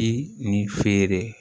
Di nin feere